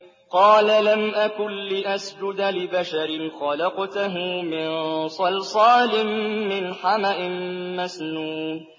قَالَ لَمْ أَكُن لِّأَسْجُدَ لِبَشَرٍ خَلَقْتَهُ مِن صَلْصَالٍ مِّنْ حَمَإٍ مَّسْنُونٍ